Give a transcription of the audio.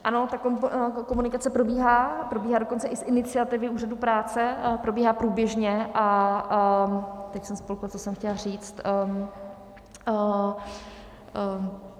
Ano, ta komunikace probíhá, probíhá dokonce i z iniciativy úřadu práce, probíhá průběžně a... teď jsem spolkla, co jsem chtěla říct.